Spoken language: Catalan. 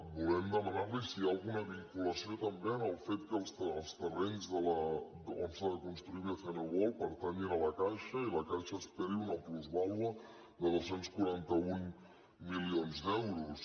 volem demanar·li si hi ha alguna vinculació també amb el fet que els terrenys on s’ha de construir bcn world pertanyin a la caixa i la caixa esperi una plusvàlua de dos cents i quaranta un milions d’euros